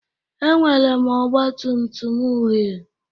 Enwere m ọgba tum tum uhie